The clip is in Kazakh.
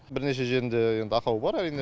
бірнеше жерінде енді ақау бар әрине